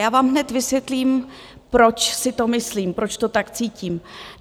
Já vám hned vysvětlím, proč si to myslím, proč to tak cítím.